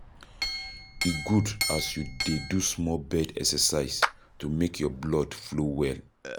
E good as you dey do small bed exercise to make your blood flow well.